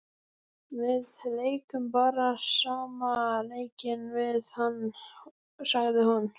Við leikum bara sama leikinn við hann, sagði hún.